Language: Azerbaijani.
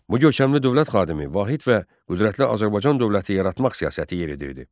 Bu görkəmli dövlət xadimi vahid və qüdrətli Azərbaycan dövləti yaratmaq siyasəti yeridirdi.